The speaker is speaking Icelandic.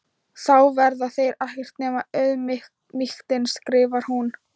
Þá verða þeir ekkert nema auðmýktin, skrifar hún.